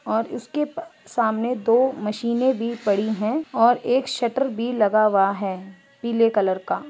और उसके सामने दो मशीने भी पड़ी हैऔर एक शटर भी लगा हुआ है पीले कलर का--